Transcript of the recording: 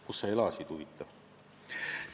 Kus sa elanud oled, huvitav?!